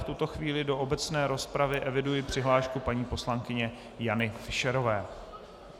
V tuto chvíli do obecné rozpravy eviduji přihlášku paní poslankyně Jany Fischerové.